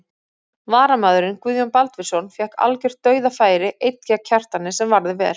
Varamaðurinn Guðjón Baldvinsson fékk algjört dauðafæri einn gegn Kjartani sem varði vel.